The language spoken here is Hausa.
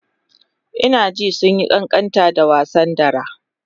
Ina jin sun yi ƙanƙanta da wasa dara.